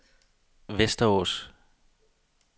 Västerås